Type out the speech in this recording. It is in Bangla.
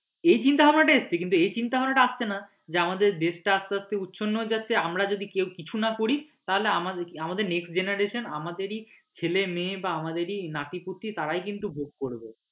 এই চিন্তা ভাবনা টা এসেছে এই চিন্তা ভাবনা টা আসছে না আমাদের দেশ টা উচ্ছন্নেও যাচ্ছে আমরা যদি কেউ কিছু না করি তাহলে আমাদের next generation আমাদেরই ছেলে মেয়ে আমাদেরই নাতিপুঁতি তারাই কিন্তু ভোগ করবে।